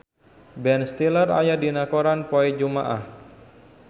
Ben Stiller aya dina koran poe Jumaah